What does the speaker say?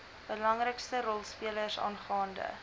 belangrikste rolspelers aangaande